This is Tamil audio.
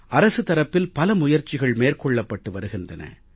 அரசு தரப்பில் பல முயற்சிகள் மேற்கொள்ளப்பட்டு வருகின்றன